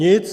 Nic.